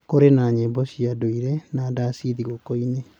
Kũrĩ na nyĩmbo cia ndũire na ndaci thigũkũ-inĩ.